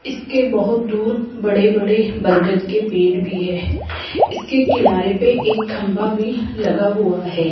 इसके बहुत दूर बड़े बड़े बरगद के पेड़ भी है इसके किनारे पे एक खंभा भी लगा हुआ है।